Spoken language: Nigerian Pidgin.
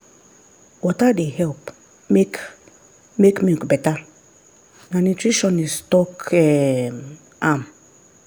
water dey help make make milk better na nutritionist talk um am.